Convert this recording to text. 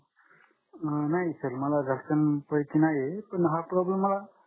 नाही sir मला घरच्यांपैकी नाहीये पण हा problem मला